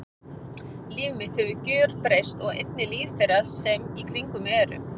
Líf mitt hefur gjörbreyst og einnig líf þeirra sem í kringum mig eru.